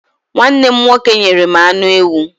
Nwanne m nwoke nyere m anụ ewu.